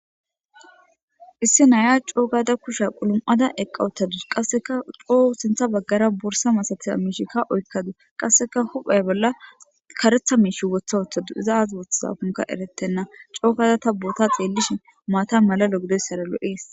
Issi Naya co gada kushe qulum'ada eqa utadus qaseka co sintha bagara borsa malatiza misheka oykadus qaseka huphe bolla karetha mish wotha wothadis iza azi wothidakoka eretena, co gada ta boota xelishn mata mala lo'o daysara lo'es.